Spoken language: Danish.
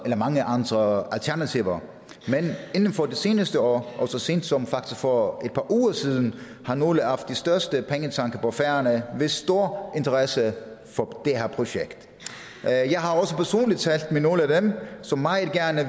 var mange andre alternativer men inden for det seneste år og så sent som faktisk for et par uger siden har nogle af de største pengetanke på færøerne vist stor interesse for det her projekt jeg har også personligt talt med nogle af dem som meget gerne